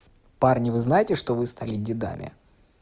парни вы знаете что вы стали дедами